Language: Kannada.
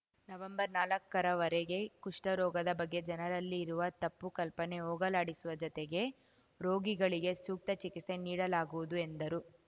ನವಂಬರ್ನಾಲಕ್ಕರ ವರೆಗೆ ಕುಷ್ಠರೋಗದ ಬಗ್ಗೆ ಜನರಲ್ಲಿ ಇರುವ ತಪ್ಪು ಕಲ್ಪನೆ ಹೋಗಲಾಡಿಸುವ ಜೊತೆಗೆ ರೋಗಿಗಳಿಗೆ ಸೂಕ್ತ ಚಿಕಿತ್ಸೆ ನೀಡಲಾಗುವುದು ಎಂದರು